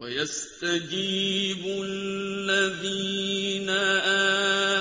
وَيَسْتَجِيبُ الَّذِينَ